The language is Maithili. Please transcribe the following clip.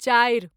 चारि